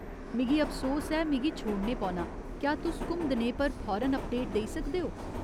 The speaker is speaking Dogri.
मिगी अफसोस ऐ, मिगी छोड़ने पौना, क्या तुस घुमदणे पर फौरन अपडेट देई सकदे ओ?